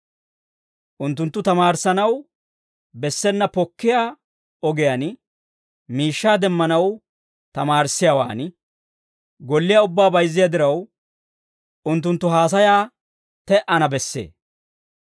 Unttunttu tamaarissanaw bessena pokkiyaa ogiyaan miishshaa demmanaw tamaarissiyaawaan golliyaa ubbaa bayzziyaa diraw, unttunttu haasayaa te"ana bessee.